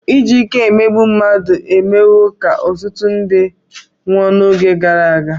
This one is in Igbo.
Iji ike emegbu mmadụ emewo ka ọtụtụ ndị nwụọ n'oge gara aga.